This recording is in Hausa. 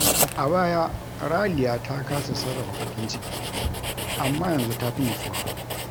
A baya, Raliya ta kasa sarrafa bakin ciki, amma yanzu ta fi nutsuwa.